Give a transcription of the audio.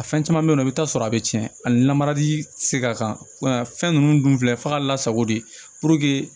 A fɛn caman bɛ yen nɔ i bɛ taa sɔrɔ a bɛ tiɲɛ hali namarali tɛ se ka kan fɛn ninnu dun filɛ fagala sago de puruke